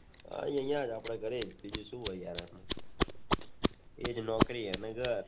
આ જ અહિયાં જ આપડા ઘરે જ બીજું શું હોય યાર એજ નોકરી અને ઘર